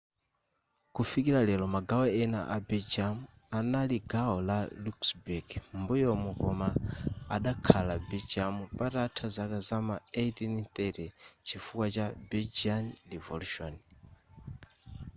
kufikira lero magawo ena a belgium anali gawo la luxemburg m'mbuyomu koma adakhala belgium patatha zaka za m'ma 1830 chifukwa cha belgian revolution